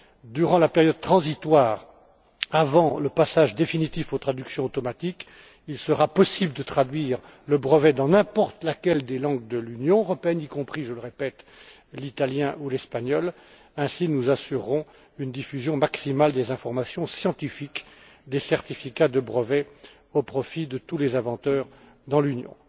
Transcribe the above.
Durant la période transitoire, avant le passage définitif aux traductions automatiques, il sera possible de traduire le brevet dans n'importe laquelle des langues de l'Union européenne, y compris je le répète l'italien ou l'espagnol. Ainsi, nous assurerons une diffusion maximale des informations scientifiques des certificats de brevets au profit de tous les inventeurs dans l'Union.